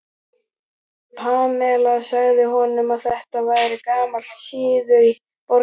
Pamela sagði honum að þetta væri gamall siður í borginni.